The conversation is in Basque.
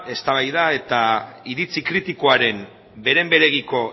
eztabaida eta iritzi kritikoaren beren beregiko